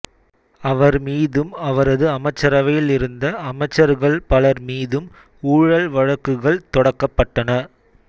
அவர் மீதும் அவரது அமைச்சரவையிலிருந்த அமைச்சர்கள் பலர் மீதும் ஊழல் வழக்குகள் தொடக்கப்பட்டன